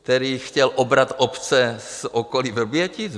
Který chtěl obrat obce z okolí Vrbětic?